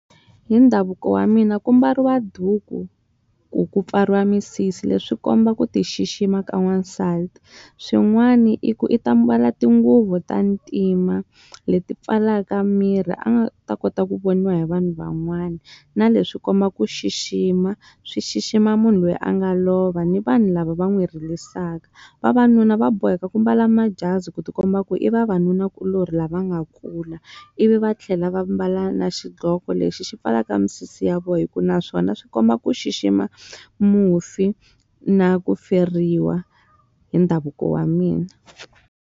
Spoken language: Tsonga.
Hi ndhavuko wa mina ku mbariwa duku, ku ku pfariwa misisi leswi komba ku ti xixima ka n'wansati. Swin'wana i ku i ta mbala tinguvu ta ntima leti pfalaka miri a nga ta kota ku voniwa hi vanhu van'wani. Na leswi komba ku xixima, swi xixima munhu loyi a nga lova ni vanhu lava va n'wi ririsaka. Vavanuna va boheka ku mbala majazi ku ti komba ku i vavanunakuloni lava nga kula, ivi va tlhela va mbala na xiqhoko lexi xi pfalaka misisi ya vona hikuva naswona swi komba ku xixima mufi na ku feriwa, hi ndhavuko wa mina.